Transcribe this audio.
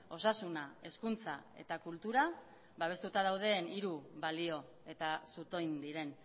osasuna hezkuntza eta kultura babestuta dauden hiru balio eta zutoin diren